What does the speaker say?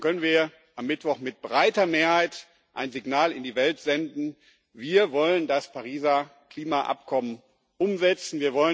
Dann können wir am Mittwoch mit breiter Mehrheit ein Signal in die Welt senden Wir wollen das Pariser Klimaabkommen umsetzen.